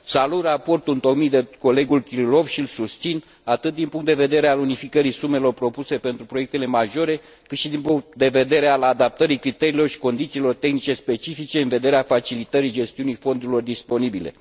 Salut raportul întocmit de colegul Kirilov și îl susțin, atât din punct de vedere al unificării sumelor propuse pentru proiectele majore, cât și din punct de vedere al adaptării criteriilor și condițiilor tehnice specifice în vederea facilitării gestiunii fondurilor disponibile.